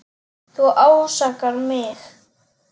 Þú ásakar mig.